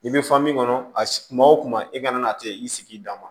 I bɛ kɔnɔ kuma wo kuma i kana na a tɛ i sigi dan ma